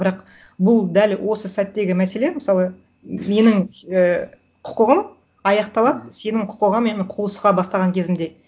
бірақ бұл дәл осы сәттегі мәселе мысалы менің і құқығым аяқталады сенің құқығымен қуысуға бастаған кезімде